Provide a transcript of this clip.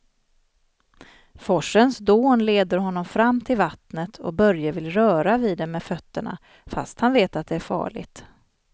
Forsens dån leder honom fram till vattnet och Börje vill röra vid det med fötterna, fast han vet att det är farligt.